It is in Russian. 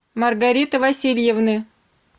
маргариты васильевны